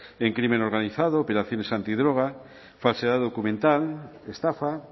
en crimen organizado operaciones antidroga falsedad documental estafa